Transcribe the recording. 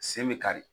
Sen bɛ kari